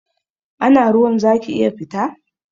Ana ruwa zaki iya fita?